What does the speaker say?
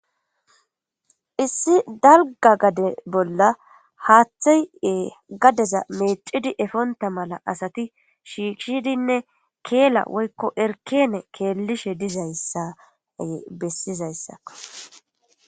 Issi dalga gade bolla haaththeye gadeza meecidi efonta mala asati shiishshidinne keela woykko erkene keellishe dizayssay bessizayssa.